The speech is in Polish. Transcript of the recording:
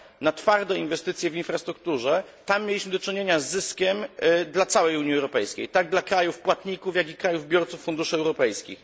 na twarde inwestycje w infrastrukturę, tam mieliśmy do czynienia z zyskiem dla całej Unii Europejskiej, tak dla krajów płatników, jak dla krajów biorców funduszy europejskich.